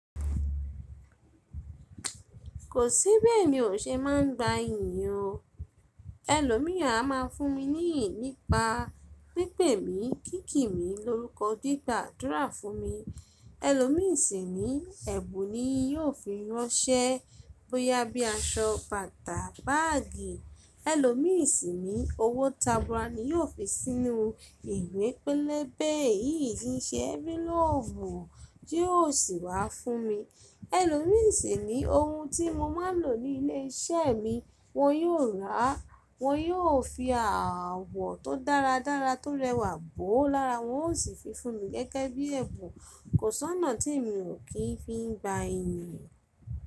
Kò sí bi eyan ṣe máa ń gba ènìyàn. Ẹlòmíràn a máa fún mi ní ìyìn nípa pípè mi, kíki mi lórúkọ, gbigba áàdúrà fún mi. Ẹlòmíràn sì ní ẹ̀bùn ni yóò fi ránṣẹ́, bóyá bí aṣọ, bàtà, báàgì. Ẹlòmíràn sì ní owó tabura ni yóò fi sínú ìwé pélébé yìí ń ṣe ẹ́nfiloopu tí yóò sì wá fún mi. Ẹlòmíràn sì ní ohun tí mo máa ń lò ní ilé iṣẹ́ mi wón yóò rà á, wọ́n yóò fi àwọ̀ tó dáradára tó rẹwà bò ó lára, wọn ó sì fi fún mi gẹ́gẹ́ bí ẹ̀bùn. Kò sọ́nà tí emi ò kí ń fi gba iyin.